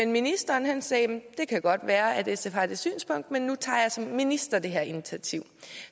ministeren sagde at det kan godt være at sf har det synspunkt men nu tager jeg som minister det her initiativ